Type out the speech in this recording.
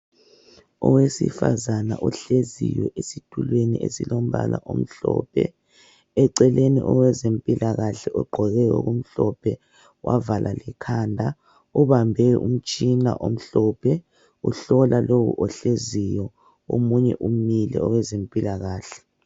Owesifazana ohleziyo esitulweni esimhlophe. Abezempilakahle babili, bonke bagqoke ezimhlophe, ngaphezulu. Babukeka kungowesilisa, lowesifazana. Osizana lesigulane ngowezempilakahle, owesilisa.